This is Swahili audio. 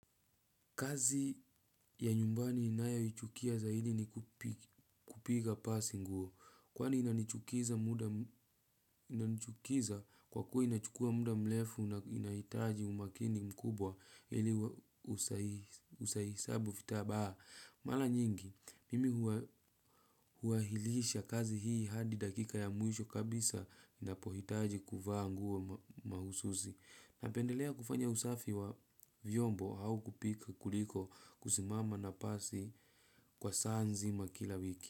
Kazi ya nyumbani ninayoichukia zaidi ni kupiga pasi nguo. Kwani inanichukiza kwa kuwa inachukua muda mrefu na inahitaji umakini mkubwa ili usiharibu vitambaa. Mara nyingi, mimi huahirisha kazi hii hadi dakika ya mwisho kabisa ninapohitaji kuvaa nguo mahususi. Napendelea kufanya usafi wa vyombo au kupika kuliko kusimama na pasi kwa saa nzima kila wiki.